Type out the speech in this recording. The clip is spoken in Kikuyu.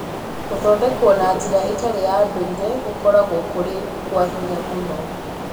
Gũthondekwo na njĩra ĩtarĩ ya ndũire gũkoragwo kũrĩ kwa hinya mũno